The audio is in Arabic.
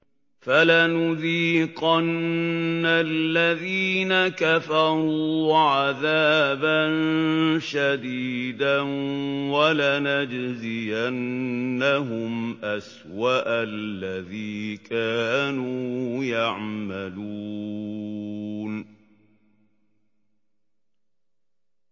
فَلَنُذِيقَنَّ الَّذِينَ كَفَرُوا عَذَابًا شَدِيدًا وَلَنَجْزِيَنَّهُمْ أَسْوَأَ الَّذِي كَانُوا يَعْمَلُونَ